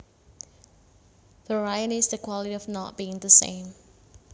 Variety is the quality of not being the same